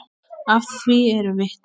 Að því eru vitni.